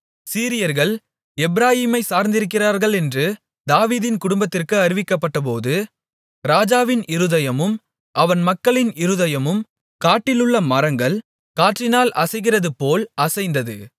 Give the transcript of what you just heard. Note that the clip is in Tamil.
சீரியர்கள் எப்பிராயீமைச் சார்ந்திருக்கிறார்களென்று தாவீதின் குடும்பத்திற்கு அறிவிக்கப்பட்டபோது ராஜாவின் இருதயமும் அவன் மக்களின் இருதயமும் காட்டிலுள்ள மரங்கள் காற்றினால் அசைகிறது போல் அசைந்தது